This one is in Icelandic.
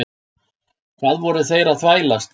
Hvað voru þeir að þvælast?